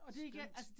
Skønt